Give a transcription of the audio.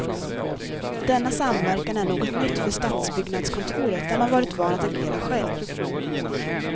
Denna samverkan är något nytt för stadsbyggnadskontoret, där man varit van att agera själv.